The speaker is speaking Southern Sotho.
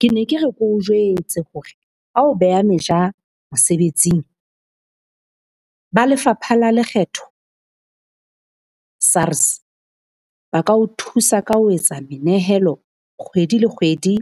Ke ne ke re ke o jwetse hore, ha o beha meja mosebetsing ba lefapha la lekgetho SARS. Ba ka o thusa ka ho etsa menehelo kgwedi le kgwedi